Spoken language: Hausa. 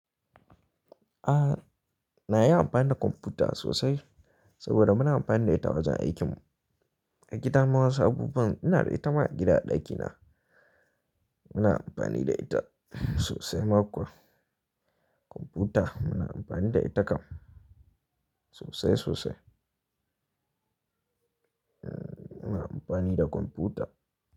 A na iya amfani da kwamfuta sosai saboda muna amfani da ita a wajen aikin mu. A gida ma wasu abubuwan ina da ita ma a gida a ɗakina. Muna amfani da ita, sosai ma kuwa. Kwamfuta, muna amfani da ita kam sosai sosai. Muna amfani da kwamfuta.